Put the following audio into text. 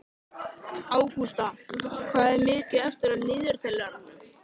Ágústa, hvað er mikið eftir af niðurteljaranum?